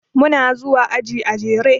Muna zuwa aji a jere.